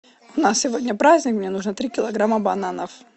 у нас сегодня праздник мне нужно три килограмма бананов